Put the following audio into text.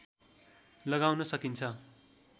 लगाउन सकिन्छ